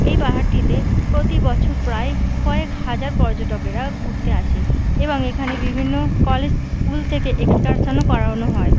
এই পাহাড়টিতে প্রতি বছর প্রায় কয়েক হাজার পর্যটকেরা ঘুরতে আসে এবং এখানে বিভিন্ন কলেজ স্কুল থেকে এক্সকারশন -ও করানো হয়।